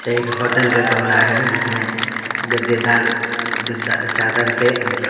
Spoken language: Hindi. एक होटल का कमरा है जिसमें गद्देदार गद्दा चादर पे मतलब व्हाइट चादर --